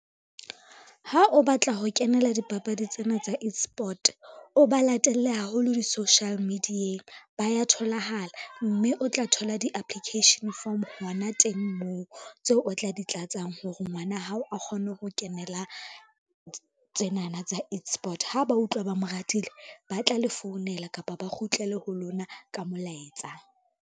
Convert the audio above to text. Ha o batla ho kenela dipapadi tsena tsa e-sport, o ba latelle haholo di-social media-eng ba ya tholahala, mme o tla thola di-application form hona teng moo tseo o tla di tlatsang hore ngwana hao a kgone ho kenela tsenana tsa e-sport. Ha ba utlwa ba mo ratile, ba tla le founela kapa ba kgutlele ho lona ka molaetsa.